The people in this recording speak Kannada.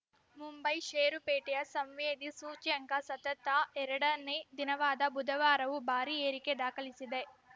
ಮುಂಬೈ ಷೇರುಪೇಟೆಯ ಸಂವೇದಿ ಸೂಚ್ಯಂಕ ಸತತ ಎರಡನೇ ದಿನವಾದ ಬುಧವಾರವೂ ಭಾರೀ ಏರಿಕೆ ದಾಖಲಿಸಿದೆ